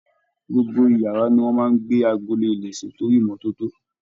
Gbogbo iyàrá ni wón máa ń gbé agolo ilẹ̀ sí torí ìmọ́tótó.